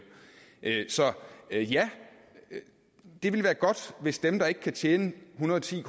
så ja ja det ville være godt hvis dem der ikke kan tjene en hundrede og ti